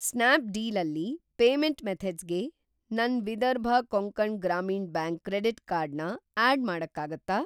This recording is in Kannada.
ಸ್ನ್ಯಾಪ್‌ಡೀಲ್ ಅಲ್ಲಿ ಪೇಮೆಂಟ್‌ ಮೆಥಡ್ಸ್‌ಗೆ ನನ್‌ Vidarbha Konkan Gramin bank credit card ನ ಆಡ್‌ ಮಾಡಕ್ಕಾಗತ್ತಾ?